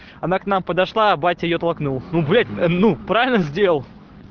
она к нам подошла а батя её толкнул ну блять ну правильно сделал